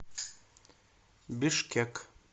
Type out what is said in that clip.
бишкек